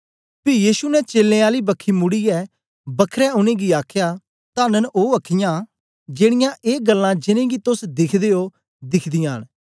पी यीशु ने चेलें आली बखी मुड़ीयै बखरै उनेंगी आखया तन्न ऐ ओ अख्खीं जेड़ीयां ए गल्लां जिनेंगी तोस दिखदे ओ दिख्दीयां न